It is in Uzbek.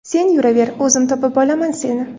Sen yuraver, o‘zim topib olaman seni.